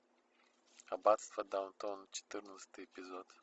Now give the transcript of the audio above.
аббатство даунтон четырнадцатый эпизод